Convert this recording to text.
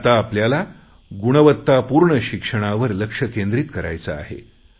आता आपल्याला गुणवत्तापूर्ण शिक्षणावर लक्ष केंद्रीत करायचे आहे